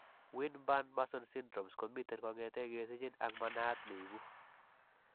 Wyburn Mason's syndrome komiten kong'ete kesichin ak manaat ne ibu.